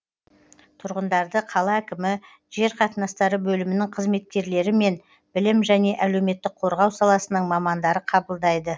тұрғындарды қала әкімі жер қатынастары бөлімінің қызметкерлері мен білім және әлеуметтік қорғау саласының мамандары қабылдайды